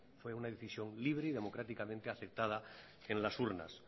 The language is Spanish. fue una decisión libre y democráticamente aceptada en las urnas